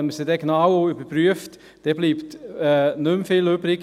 Wenn man diese aber genau überprüft, bleibt nicht viel übrig.